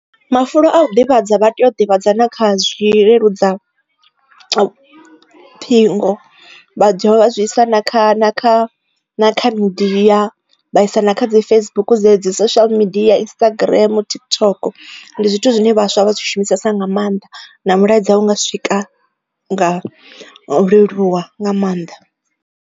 Mafulo a u ḓivhadza vha tea u ḓivhadzana kha zwileludzaṱhingo vha dovha zwi isa na kha na kha kha midia vha isa na kha Facebook dze dzi social media ya Instagram, TikTok ndi zwithu zwine vhaswa vha zwi shumisesa nga maanḓa na mulaedza hunga swika nga leluwa nga maanḓa.